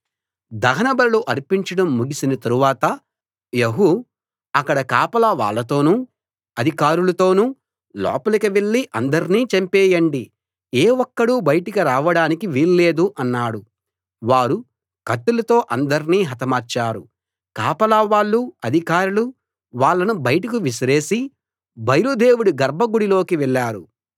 దహనబలులు అర్పించడం ముగిసిన తరువాత యెహూ అక్కడి కాపలా వాళ్ళతోనూ అధికారులతోనూ లోపలికి వెళ్లి అందర్నీ చంపేయండి ఏ ఒక్కడూ బయటకు రావడానికి వీల్లేదు అన్నాడు వారు కత్తులతో అందర్నీ హతమార్చారు కాపలా వాళ్ళూ అధికారులూ వాళ్ళను బయటకు విసిరేసి బయలు దేవుడి గర్భగుడి లోకి వెళ్ళారు